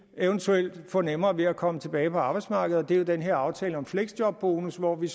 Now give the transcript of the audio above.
eventuelt kan få nemmere ved at komme tilbage på arbejdsmarkedet det er jo den her aftale om fleksjobbonus hvor vi